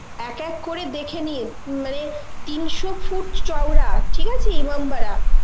এক এক করে দেখে নিয়ে উম মানে তিনশো foot চওড়া ঠিক আছে ইমামবাড়া.